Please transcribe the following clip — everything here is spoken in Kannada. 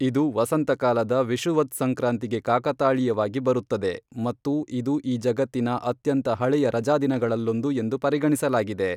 ಇದು ವಸಂತಕಾಲದ ವಿಷುವದ್ಸಂಕ್ರಾಂತಿಗೆ ಕಾಕತಾಳೀಯವಾಗಿ ಬರುತ್ತದೆ ಮತ್ತು ಇದು ಈ ಜಗತ್ತಿನ ಅತ್ಯಂತ ಹಳೆಯ ರಜಾದಿನಗಳಲ್ಲೊಂದು ಎಂದು ಪರಿಗಣಿಸಲಾಗಿದೆ